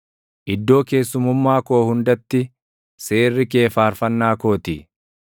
Iddoo keessummummaa koo hundatti seerri kee faarfannaa koo ti.